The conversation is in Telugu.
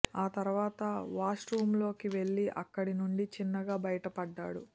ఆ తర్వాత వాష్రూమ్లోకి వెళ్లి అక్కడి నుంచి చిన్నగా బయట పడ్డాడు